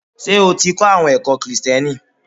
Ṣé o ti kọ́ àwọn ẹ̀kọ́ Kìrisìtìẹ́nì?